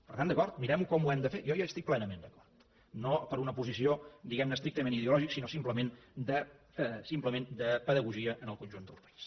per tant d’acord mirem ho com ho hem de fer jo hi estic plenament d’acord no per una posició diguem ne estrictament ideològica sinó simplement de pedagogia en el conjunt del país